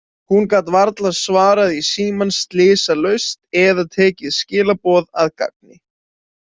Hún gat varla svarað í símann slysalaust eða tekið skilaboð að gagni.